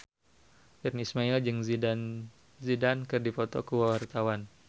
Virnie Ismail jeung Zidane Zidane keur dipoto ku wartawan